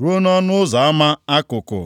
ruo nʼọnụ ụzọ ama Akụkụ.